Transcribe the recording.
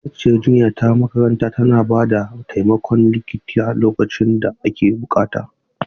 Ma'aikaciyar jinya ta makaranta tana ba da taimakon likita lokacin da ake buƙata.